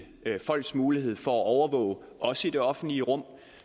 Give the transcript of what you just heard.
folks mulighed for at overvåge også i det offentlige rum